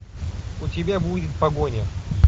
у тебя будет погоня